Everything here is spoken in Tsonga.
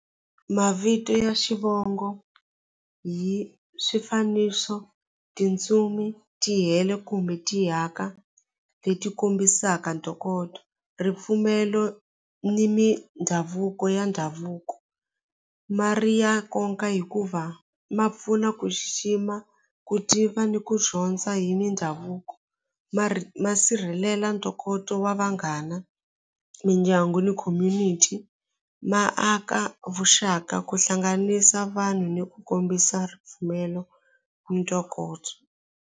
Mavito ya xivongo hi swifaniso tintsumi ti hela kumbe ti haka leti kombisaka ntokoto ripfumelo ni mindhavuko ya ndhavuko ma ri ya nkoka hikuva ma pfuna ku xixima ku tiva ni ku dyondza hi mindhavuko ma ma sirhelela ntokoto wa vanghana mindyangu ni community ma aka vuxaka ku hlanganisa vanhu ni ku kombisa ripfumelo ntokoto.